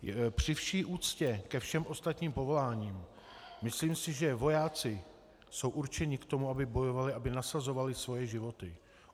Při vší úctě ke všem ostatním povoláním, myslím si, že vojáci jsou určeni k tomu, aby bojovali, aby nasazovali svoje životy.